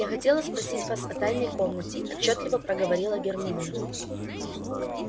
я хотела спросить вас о тайной комнате отчётливо проговорила гермиона